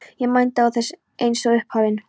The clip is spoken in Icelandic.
Ég mændi á það eins og upphafinn.